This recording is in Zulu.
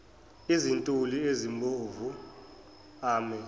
izintuli ezibomvu ame